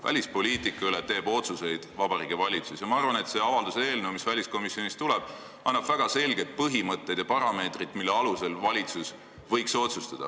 Välispoliitika üle teeb otsuseid Vabariigi Valitsus ja ma arvan, et see avalduse eelnõu, mis väliskomisjonist tuleb, annab väga selged põhimõtted ja parameetrid, mille alusel võiks valitsus otsustada.